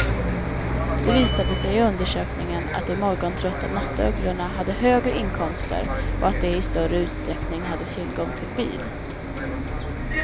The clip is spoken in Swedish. Det visade sig i undersökningen att de morgontrötta nattugglorna hade högre inkomster och att de i större utsträckning hade tillgång till bil.